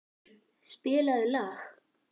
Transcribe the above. Hængur, spilaðu lag.